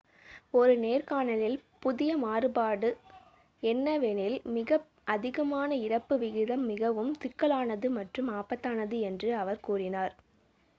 "ஒரு நேர்காணலில் புதிய மாறுபாடு என்னவெனில் "மிக அதிகமான இறப்பு விகிதம் மிகவும் சிக்கலானது மற்றும் ஆபத்தானது" என்று அவர் கூறினார்.